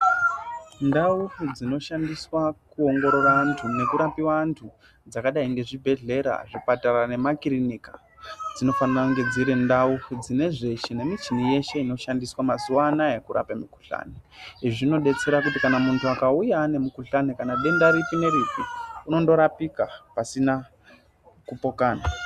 Ndau dzinoshandiswa kuongorora antu nekurape vantu dzakadai ngezvibhedhlera zvipatara nemakirinika dzinofanira kunge dziri ndau dzine zveshe nemichini yeshe inoshandiswe mazuva anaya kurape mikuhlani izvi zvinobetsere kuti kana muntu akauya ane mukuhlani kana denda ripi neripi unondorapika pasina kupokana.